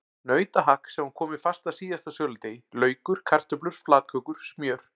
Nautahakk sem var komið fast að síðasta söludegi, laukur, kartöflur, flatkökur, smjör.